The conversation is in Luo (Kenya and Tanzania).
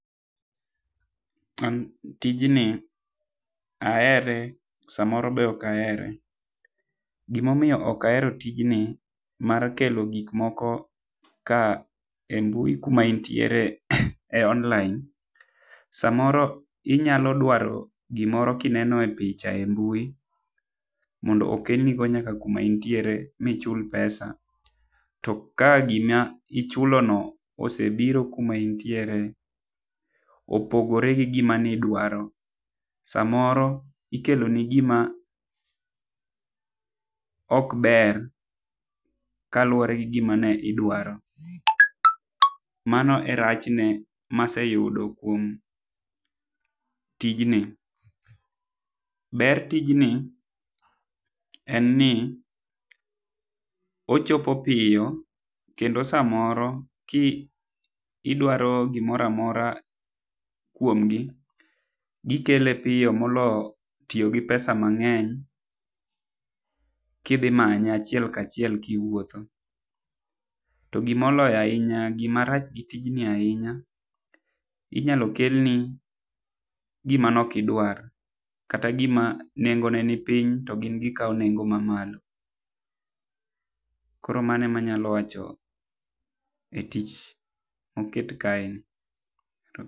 An tijni ahere sa moro be ok ahere. Gi ma omiyo ok ahero tijni mar kelo gik moko e mbui ku ma intiere online, sa moro inyalo dwaro gi moro ki ineno picha e mbui mondo okel ni nyaka ku ma intiere mondo ichul pesa, to ka gi ma ichulo no osebiro kuma intiere opogore gi gi ma ni idwaro ,sa moro ikelo ni gi ma ok ber kaluore gi gi ma ne idwaro. Mano e rach ne ma aseyudo kuom tij ni. Ber tijni en ni ochopo opiyo kendo sa moro ki idaro gi moro amora kuom gi gi kelo piyo molo tiyo gi pesa ma ng'eny ki idhi manye achiel kaachiel ki iwuotho. To gi ma moloyo ainya gi ma rach gi tijni ainya inyalo kel ni gi ma ne ok idwar kata gi ma nengo ne ni piny to gin gi kawo nengo ma malo. Koro mano ema anyalo wacho e tich ma oket kae ni.